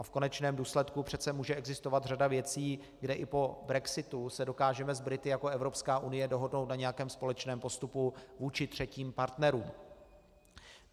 A v konečném důsledku přece může existovat řada věcí, kde i po brexitu se dokážeme s Brity jako Evropská unie dohodnout na nějakém společném postupu vůči třetím partnerům.